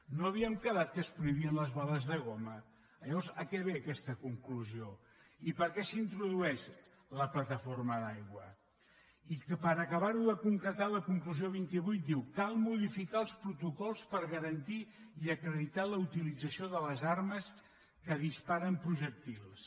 no havíem quedat que es prohibien les bales de goma llavors a què ve aquesta conclusió i per què s’introdueix la plataforma d’aigua i per acabar ho de concretar la conclusió vint vuit diu cal modificar els protocols per garantir i acreditar la utilització de les armes que disparen projectils